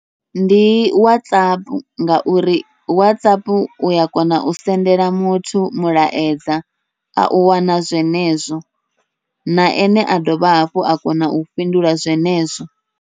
Ndi Whatsapp ngauri Whatsapp uya kona u sendela muthu mulaedza, au wana zwenezwo na ene a dovha hafhu a kona u fhindula zwenezwo.